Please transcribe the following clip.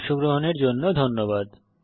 অংশগ্রহনের জন্য ধন্যবাদ